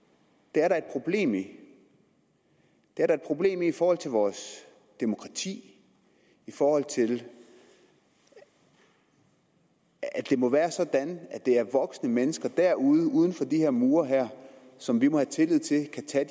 det er der et problem i det er der et problem i i forhold til vores demokrati i forhold til at det må være sådan at det er voksne mennesker derude uden for de her mure som vi må have tillid til kan